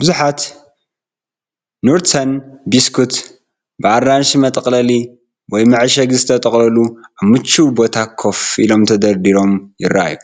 ብዙሓት “ኑርተን” ቢስኩት፡ ብኣራንሺ መጠቕለሊ/መዐሸጊ ዝተጠቕለሉ፡ ኣብ ምቹው ቦታ ኮፍ ኢሎምን ተደርዲሮምን ይረኣዩ።